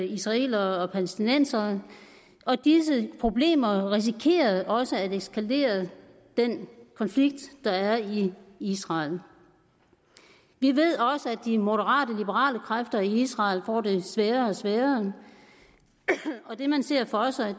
israelerne og palæstinenserne og disse problemer risikerer også at eskalere den konflikt der er i israel vi ved også at de moderate liberale kræfter i israel får det sværere og sværere og det man ser for sig